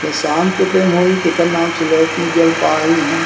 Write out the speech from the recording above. ये शाम के टाइम हो ही तेखर नाम से लाइट नई जल पाय हे इहा--